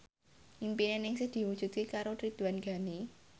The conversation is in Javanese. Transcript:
impine Ningsih diwujudke karo Ridwan Ghani